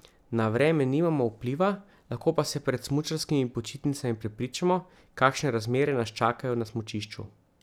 Na vreme nimamo vpliva, lahko pa se pred smučarskimi počitnicami prepričamo, kakšne razmere nas čakajo na smučišču.